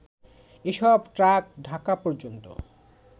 এসব ট্রাক ঢাকা পর্যন্ত